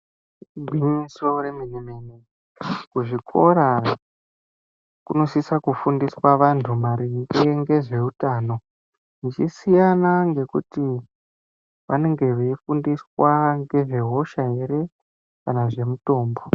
Igwinyiso remene mene kuzvikora kunosisa kufundiswa vantu maringe nezvehutano kuti vanenge veifundiswa nezve hosha here kana zvemitombo.